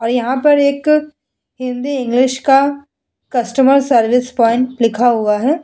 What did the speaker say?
और यहाँ पर एक हिंदी इंग्लिश का कस्टमर सर्विस पॉइंट लिखा हुआ है ।